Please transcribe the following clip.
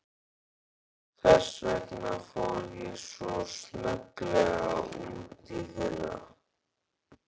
Þess vegna fór ég svo snögglega út í fyrra.